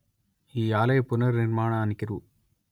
ఈ ఆలయ పునర్నిర్మాణానికి రు